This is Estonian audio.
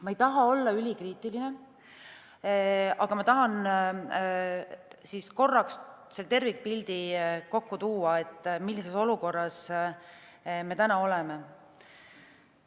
Ma ei taha olla ülikriitiline, aga tahan korraks kokku võtta selle tervikpildi, millises olukorras me oleme.